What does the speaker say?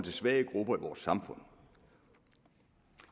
svage grupper i vores samfund